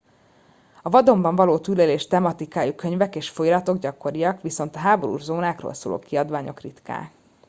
a vadonban való túlélés tematikájú könyvek és folyóiratok gyakoriak viszont a háborús zónákról szóló kiadványok ritkák